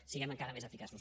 siguem encara més eficaços